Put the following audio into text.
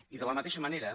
i de la mateixa manera